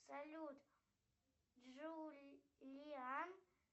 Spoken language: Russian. салют джулиан